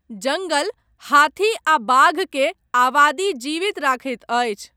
जङ्गल हाथी आ बाघ के आबादी जीवित रखैत अछि।